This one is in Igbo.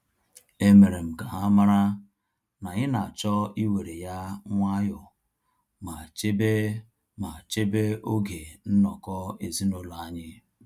E mere m ka ha mara na anyị na-achọ iwere ya nwayọ ma chebe ma chebe oge nnọkọ ezinaụlọ anyi